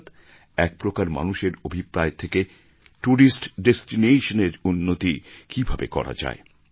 অর্থাৎ এক প্রকার মানুষের অভিপ্রায় থেকে টুরিস্ট ডেস্টিনেশন এর উন্নতি কিভাবে করা যায়